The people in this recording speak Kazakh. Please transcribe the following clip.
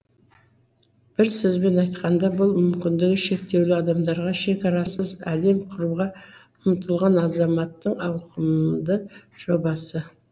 бір сөзбен айтқанда бұл мүмкіндігі шектеулі адамдарға шекарасыз әлем құруға ұмтылған азаматтың ауқымды жобасы